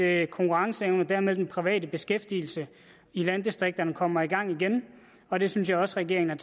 at konkurrenceevne og dermed den private beskæftigelse i landdistrikterne kommer i gang igen og det synes jeg også regeringen har